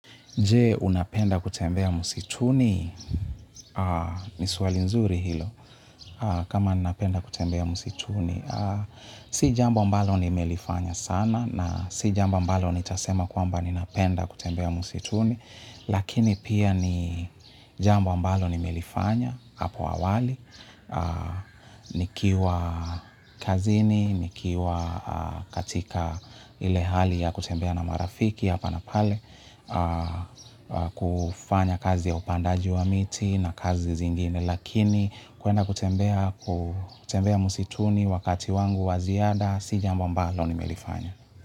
Je unapenda kutembea msituni, ni suali nzuri hilo kama ninapenda kutembea msituni. Si jambo mbalo nimelifanya sana na si jambo mbalo nitasema kwamba ninapenda kutembea msituni. Lakini pia ni jambo mbalo nimelifanya, hapo awali. Nikiwa kazini, nikiwa katika ile hali ya kutembea na marafiki, hapa na pale. Kufanya kazi ya upandaji wa miti na kazi zingine lakini kuenda kutembea msituni wakati wangu waziada si jambo mbalo ni melifanya.